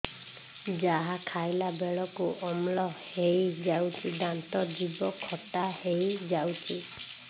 ଯାହା ଖାଇଲା ବେଳକୁ ଅମ୍ଳ ହେଇଯାଉଛି ଦାନ୍ତ ଜିଭ ଖଟା ହେଇଯାଉଛି